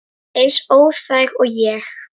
Eins óþæg og ég?